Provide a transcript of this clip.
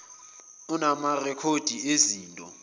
unama rekhodi ezinto